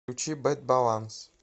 включи бэд баланс